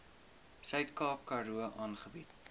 suidkaap karoo aangebied